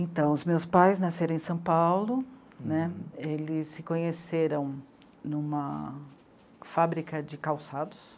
Então, os meus pais nasceram em São Paulo né, eles se conheceram em uma fábrica de calçados.